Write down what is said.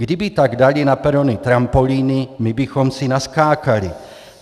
Kdyby tak dali na perony trampolíny, my bychom si naskákali.